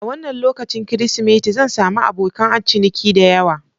A wannan lokacin Kirsimeti, zan sami abokan ciniki da yawa.